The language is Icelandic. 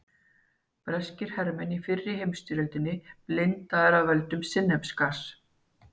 Breskir hermenn í fyrri heimsstyrjöldinni blindaðir af völdum sinnepsgass.